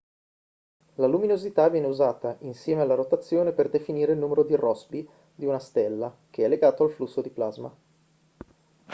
la luminosità viene usata insieme alla rotazione per definire il numero di rossby di una stella che è legato al flusso di plasma